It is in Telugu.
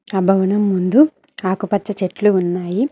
ఆ భవనం ముందు ఆకుపచ్చ చెట్లు ఉన్నాయి